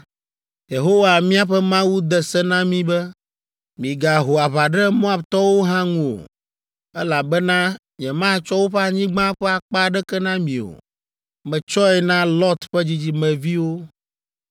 Yehowa míaƒe Mawu de se na mí be, “Migaho aʋa ɖe Moabtɔwo hã ŋu o, elabena nyematsɔ woƒe anyigba ƒe akpa aɖeke na mi o. Metsɔe na Lot ƒe dzidzimeviwo!”